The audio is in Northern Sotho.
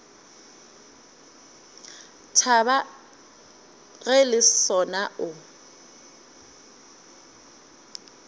thaba ge le sona o